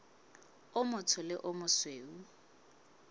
o motsho le o mosweu